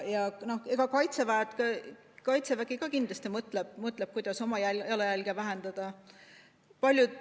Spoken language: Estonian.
Ja Kaitsevägi ka kindlasti mõtleb, kuidas oma jalajälge vähendada.